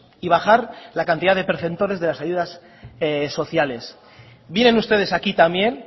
y bajar la cantidad de preceptores de las ayudas sociales vienen ustedes aquí también